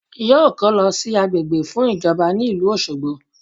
Yóò kó lọ sí agbègbè fún ìjọba ní ìlú Òṣogbo